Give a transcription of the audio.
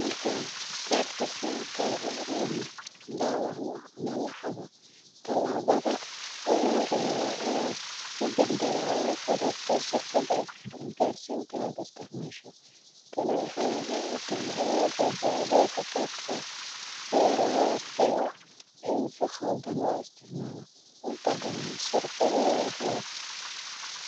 Markaad karka dumo, talabada ogu horeyo waa inaad la xariirta shirkada is gaarsiinta, si looga hor tago in si qaldan loo isticmaala,